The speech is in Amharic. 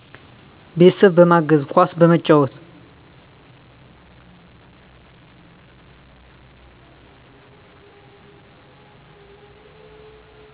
ቤተሰብ በማገዝ፣ ኳስ በመጫወት